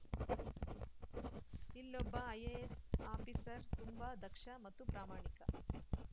ಇಲ್ಲೊಬ್ಬ IAS officer ತುಂಬಾ ದಕ್ಷ ಮತ್ತು ಪ್ರಾಮಾಣಿಕ